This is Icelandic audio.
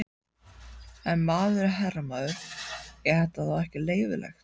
Ef maður er herramaður, er þetta þá ekki leyfilegt?